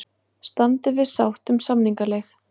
Standi við sátt um samningaleið